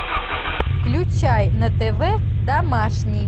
включай на тв домашний